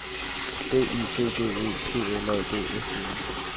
B Y G G E P L A D S E N